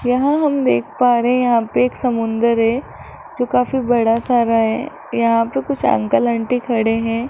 यहां हम देख पा रहे हैं यहां पे एक समुंदर है जो काफी बड़ा सारा है यहां पे कुछ अंकल आंटी खड़े हैं।